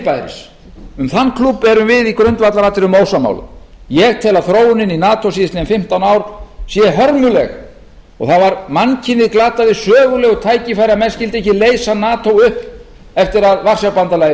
fyrirbæris um þann klúbb erum við í grundvallaratriðum ósammála ég tel að þróunin í nato síðastliðin fimmtán ár sé hörmuleg og mannkynið glataði sögulegu tækifæri að menn skyldu ekki leysa nato upp eftir að varsjárbandalagið